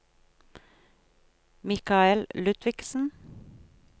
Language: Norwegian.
Mikael Ludvigsen